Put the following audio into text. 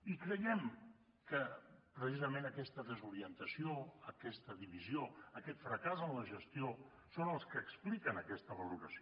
i creiem que precisament aquesta desorientació aquesta divisió aquest fracàs en la gestió són els que expliquen aquesta valoració